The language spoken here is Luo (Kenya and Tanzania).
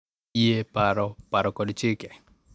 Yie, paro, paro kod chike.